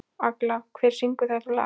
Agla, hver syngur þetta lag?